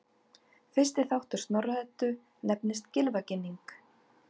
Fyrsti þáttur Snorra-Eddu nefnist Gylfaginning.